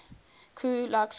ku klux klan